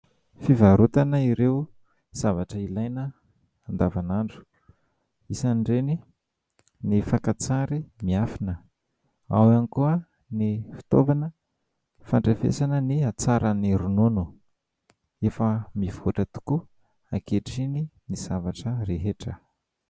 Fivarotana ireo zavatra ilaina andavanandro. Isan'ireny ny fakantsary miafina, ao ihany koa ny fitaovana fandrefesana ny hatsaran'ny ronono. Efa mivoatra tokoa ankehitriny ny zavatra rehetra.